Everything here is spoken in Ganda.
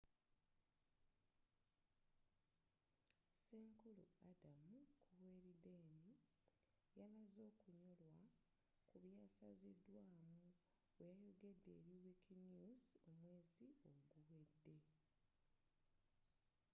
senkulu adam cuerden yalaze okunyolwa ku byasazidwaamu bweyayogedde eri wikinews omwezi oguwedde